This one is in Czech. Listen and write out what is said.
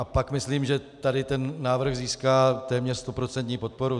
A pak myslím, že tady ten návrh získá téměř stoprocentní podporu.